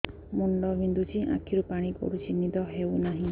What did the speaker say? ମୁଣ୍ଡ ବିନ୍ଧୁଛି ଆଖିରୁ ପାଣି ଗଡୁଛି ନିଦ ହେଉନାହିଁ